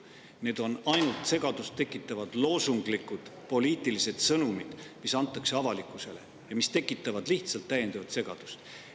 Need on ainult loosunglikud poliitilised sõnumid, mida antakse avalikkusele ja mis tekitavad lihtsalt täiendavat segadust.